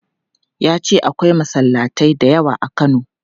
Ya ce akwai masallatai da yawa a Kano.